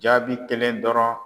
Jaabi kelen dɔrɔn.